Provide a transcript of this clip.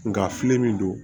Nka a filɛ nin don